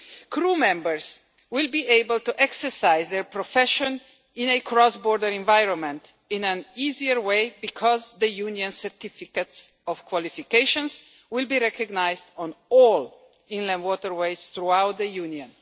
Crew members will be able to exercise their profession in a cross border environment more easily because Union certificates of qualifications will be recognised on all inland waterways throughout the Union.